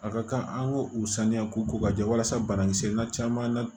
A ka kan an k'o u saniya ko ka jɛ walasa banakisɛ na caman na